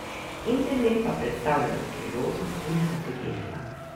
Internet pa predstavlja priložnost tudi za podjetja.